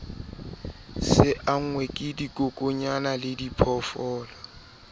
se angwe ke dikokwanyana lediphoofolo